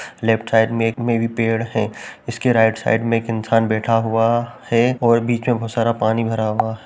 left side में एक मे भी पेड़ है इसके राइट साइड में एक इंसान बैठा हुआ है और बीच में बहोत सारा पानी भरा हुआ --